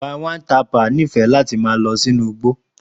Palm wine tapper nífẹ̀ẹ́ ma lọ sí igbó